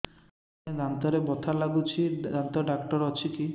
ଆଜ୍ଞା ଦାନ୍ତରେ ବଥା ଲାଗୁଚି ଦାନ୍ତ ଡାକ୍ତର ଅଛି କି